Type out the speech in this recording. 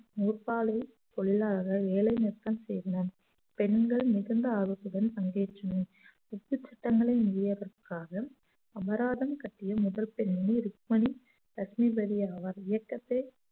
பொல்லாத வேலை நிறுத்தம் செய்தனர் பெண்கள் மிகுந்த ஆர்வத்துடன் பங்கேற்றனர் உப்பு சட்டங்களை மீறியதற்காக அபராதம் கட்டிய முதல் பெண்ணை ருக்மணி லட்சுமிபதி அவர் இயக்கத்தை